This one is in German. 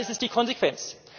Dann ist das die Konsequenz!